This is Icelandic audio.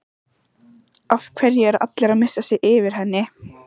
Af hverju er allir að missa sig yfir henni?